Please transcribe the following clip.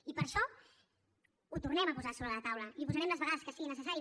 i per això ho tornem a posar sobre la taula i ho posarem les vegades que sigui necessari